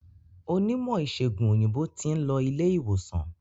Onímò ìsègùn òyìnbó tin lo ilé ìwòsan